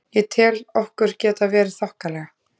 Ég tel okkur geta verið þokkalega.